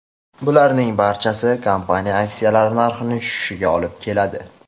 Bularning barchasi kompaniya aksiyalari narxining tushishiga olib keladi.